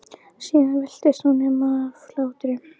Síðan veltist hún um af hlátri.